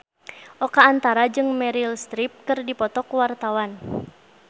Oka Antara jeung Meryl Streep keur dipoto ku wartawan